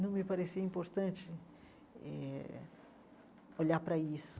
Não me parecia importante eh olhar para isso.